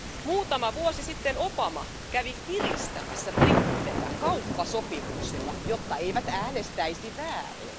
Muutama vuosi sitten Obama kävi kiristämässä brittejä kauppasopimuksilla, jotta eivät äänestäisi väärin.